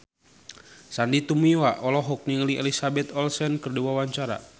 Sandy Tumiwa olohok ningali Elizabeth Olsen keur diwawancara